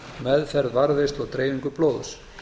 meðferð varðveislu og dreifingu blóðs